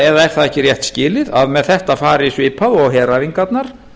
eða er það ekki rétt skilið að með þetta fari svipað og heræfingarnar